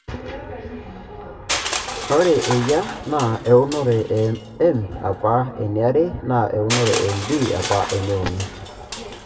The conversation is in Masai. Ore eyia naa eunore e M apa eniare naa eunore e MD apa eneuni.